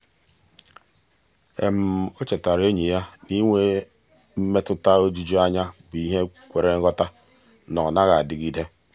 o chetaara enyi ya na inwe mmetụta ojuju anya bụ ihe kwere nghọta na ọ naghị adịgide.